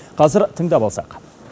қазір тыңдап алсақ